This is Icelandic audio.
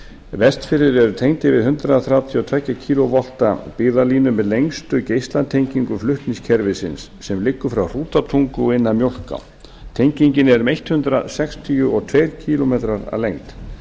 vestfirðir eru tengdir við hundrað þrjátíu og tvö kv byggðalínu með lengstu geislatengingu flutningakerfisins sem liggur frá hrútatungu og inn að mjólká tengingin er um hundrað sextíu og tveir kílómetrar að lengd